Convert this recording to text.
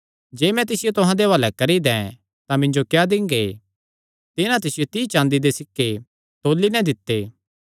जे मैं तिसियो तुहां दे हुआलैं करी दैं तां मिन्जो क्या दिंगे तिन्हां तिसियो तीई चाँदी दे सिक्के तौल़ी नैं देई दित्ते